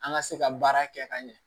An ka se ka baara kɛ ka ɲɛ